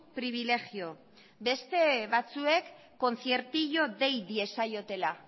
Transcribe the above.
pribilegio beste batzuek conciertillo dei diezaiotela